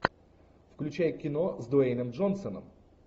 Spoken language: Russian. включай кино с дуэйном джонсоном